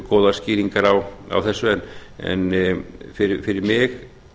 góðar skýringar á þessu en fyrir mig